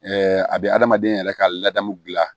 a bɛ adamaden yɛrɛ ka ladamu dilan